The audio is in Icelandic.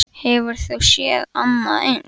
Hefur þú séð annað eins?